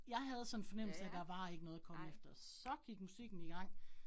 Jeg sådan fornemmelsen af, der var ikke noget at komme efter. Så gik musikken i gang